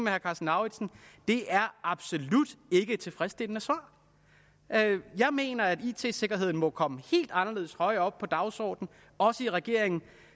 herre karsten lauritzen det er absolut ikke et tilfredsstillende svar jeg mener at it sikkerheden må komme helt anderledes højt op på dagsordenen også i regeringen